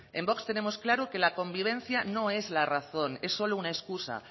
en vox tenemos claro que la convivencia no es la razón es solo una excusa